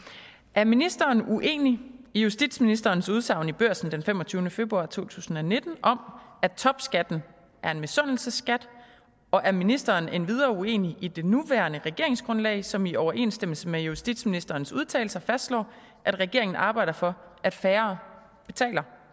er ministeren uenig i justitsministers udsagn i børsen den femogtyvende februar to tusind og nitten om at topskatten er en misundelsesskat og er ministeren endvidere uenig i det nuværende regeringsgrundlag som i overensstemmelse med justitsministerens udtalelser fastslår at regeringen arbejder for at færre betaler